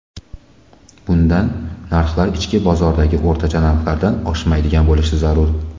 Bundan narxlar ichki bozoridagi o‘rtacha narxlardan oshmaydigan bo‘lishi zarur.